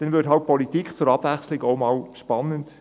– Dann würde Politik zur Abwechslung einmal spannend.